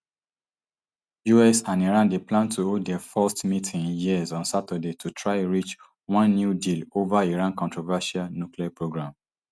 us and iran dey plan to hold dia first meeting in years on saturday to try reach one new deal ova iran controversial nuclear programme